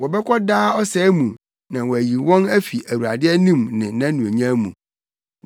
Wɔbɛkɔ daa ɔsɛe mu na wɔayi wɔn afi Awurade anim ne nʼanuonyam mu,